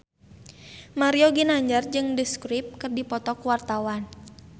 Mario Ginanjar jeung The Script keur dipoto ku wartawan